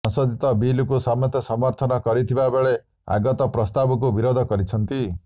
ସଂଶୋଧିତ ବିଲକୁ ସମସ୍ତେ ସମର୍ଥନ କରିଥିବା ବେଳେ ଆଗତ ପ୍ରସ୍ତାବକୁ ବିରୋଧ କରିଛନ୍ତି